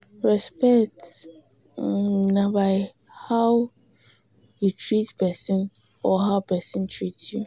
respect um na by um how um you treat persin or how persin treat you